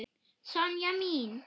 Sonja mín.